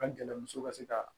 An gɛlɛn muso ka se ka